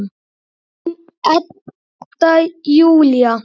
Þín Edda Júlía.